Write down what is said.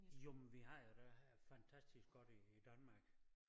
Jo men vi har det fantastisk godt i Danmark